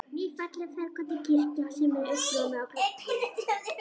Ný, falleg ferköntuð kirkja sem er uppljómuð af gluggum